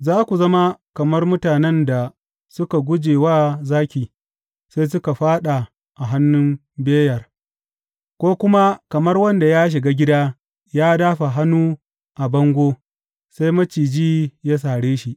Za ku zama kamar mutanen da suka guje wa zaki sai suka fāɗa a hannun beyar, ko kuma kamar wanda ya shiga gida ya dāfa hannu a bango sai maciji ya sare shi.